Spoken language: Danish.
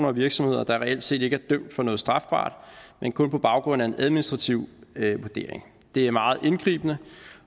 og virksomheder der reelt set ikke er dømt for noget strafbart men kun på baggrund af en administrativ vurdering det er meget indgribende